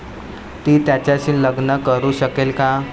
ती त्याच्याशी लग्न करू शकेल का?